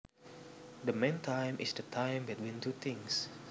The meantime is the time between two things